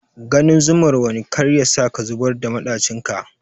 Ganin zumar wani kar yasa ka zubar da maɗacin ka.